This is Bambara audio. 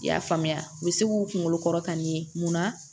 I y'a faamuya u bɛ se k'u kunkolo kɔrɔta nin mun na